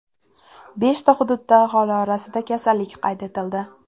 Beshta hududda aholi orasida kasallik qayd etildi.